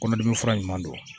Kɔnɔdimi fura ɲuman don